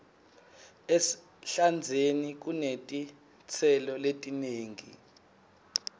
ehlandzeni kunetitselo letinengi